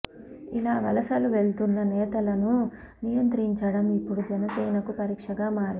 ఇలా వలసలు వెళ్తున్న నేతలను నియంత్రించటం ఇప్పుడు జనసేనకు పరీక్షగా మారింది